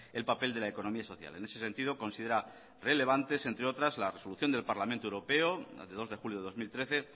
el papel de la economía social en ese sentido considera relevantes entre otras la resolución del parlamento europeo la de dos de julio de dos mil trece